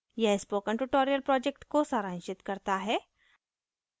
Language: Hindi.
यह spoken tutorial project को सारांशित करता है